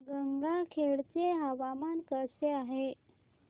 गंगाखेड चे हवामान कसे आहे